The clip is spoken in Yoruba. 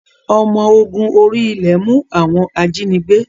Ọmọ ogun orí-ilẹ̀ mú àwọn ajínigbé